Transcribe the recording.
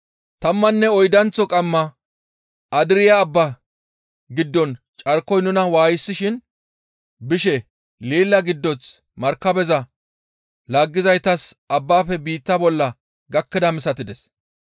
Tammanne oydanththo qamma Andirya Abba giddon carkoy nuna waayisishin bishe leela giddoth markabeza laaggizaytas abbaafe biitta bolla gakkidaa misatides.